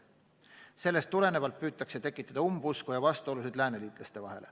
Sellest tulenevalt püütakse tekitada umbusku ja vastuolusid lääneliitlaste vahel.